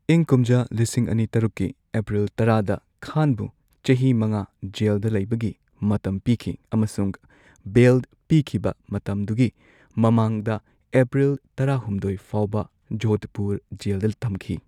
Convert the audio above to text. ꯏꯪ ꯀꯨꯝꯖꯥ ꯂꯤꯁꯤꯡ ꯑꯅꯤ ꯇꯔꯨꯛꯀꯤ ꯑꯦꯄ꯭ꯔꯤꯜ ꯇꯔꯥꯗ ꯈꯥꯟꯕꯨ ꯆꯍꯤ ꯃꯉꯥ ꯖꯦꯜꯗ ꯂꯩꯕꯒꯤ ꯃꯇꯝ ꯄꯤꯈꯤ ꯑꯃꯁꯨꯡ ꯕꯦꯜ ꯄꯤꯈꯤꯕ ꯃꯇꯝꯗꯨꯒꯤ ꯃꯃꯥꯡꯗ ꯑꯦꯄ꯭ꯔꯤꯜ ꯇꯔꯥꯍꯨꯝꯗꯣꯏ ꯐꯥꯎꯕ ꯖꯣꯙꯄꯨꯔ ꯖꯦꯜꯗ ꯊꯝꯈꯤ꯫